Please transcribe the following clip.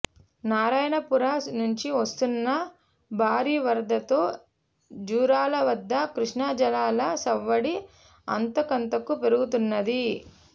నారాయణపుర నుంచి వస్తున్న భారీవరదతో జూరాలవద్ద కృష్ణాజలాల సవ్వడి అంతకంతకు పెరుగుతున్నది